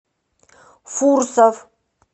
фурсов